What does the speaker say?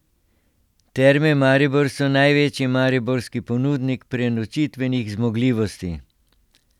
Terme Maribor so največji mariborski ponudnik prenočitvenih zmogljivosti.